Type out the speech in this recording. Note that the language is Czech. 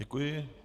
Děkuji.